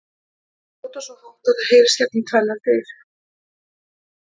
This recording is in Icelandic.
Þau hrjóta svo hátt að það heyrist gegnum tvennar dyr!